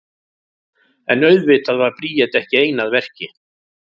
En auðvitað var Bríet ekki ein að verki.